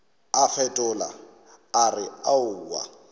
a fetola a re aowa